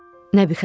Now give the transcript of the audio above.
Nəbi Xəzri.